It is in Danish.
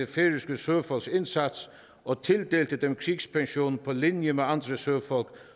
færøske søfolks indsats og tildelte dem krigspension på linje med andre søfolk